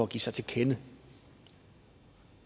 give sig til kende